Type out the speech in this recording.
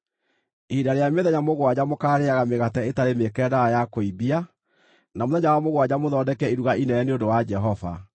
Ihinda rĩa mĩthenya mũgwanja mũkaarĩĩaga mĩgate ĩtarĩ mĩĩkĩre ndawa ya kũimbia na mũthenya wa mũgwanja mũthondeke iruga inene nĩ ũndũ wa Jehova.